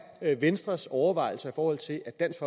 venstres overvejelser i forhold til at dansk